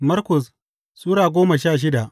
Markus Sura goma sha shida